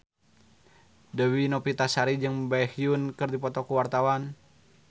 Dewi Novitasari jeung Baekhyun keur dipoto ku wartawan